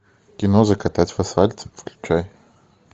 кино закатать в асфальт включай